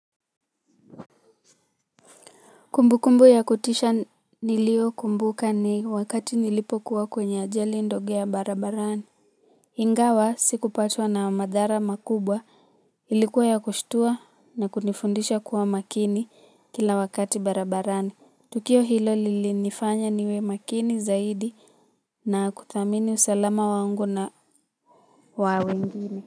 Kumbu kumbu ya kutisha niliyoikumbuka ni wakati nilipokuwa kwenye ajali ndogo ya barabarani. Ingawa sikupatwa na madhara makubwa, ilikuwa ya kushitua na kunifundisha kuwa makini kila wakati barabarani. Tukio hilo lilinifanya niwe makini zaidi na kuthamini usalama wangu na wawengine.